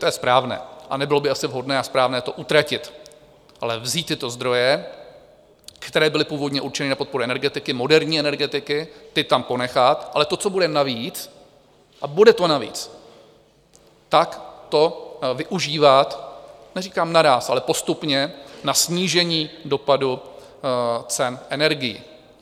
To je správné a nebylo by asi vhodné a správné to utratit, ale vzít tyto zdroje, které byly původně určeny na podporu energetiky, moderní energetiky, ty tam ponechat, ale to, co bude navíc, a bude to navíc, tak to využívat, neříkám naráz, ale postupně, na snížení dopadu cen energií.